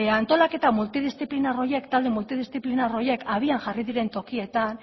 antolaketa multidiziplinar horiek talde multidiziplinar horiek abian jarri diren tokietan